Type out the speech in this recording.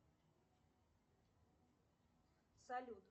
салют